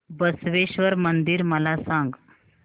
बसवेश्वर मंदिर मला सांग